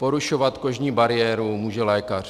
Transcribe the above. Porušovat kožní bariéru může lékař.